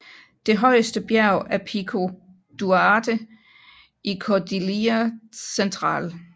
Det højeste bjerg er Pico Duarte i Cordillera Central